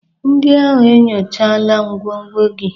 Ndị ahụ enyochala ngwongwo gị?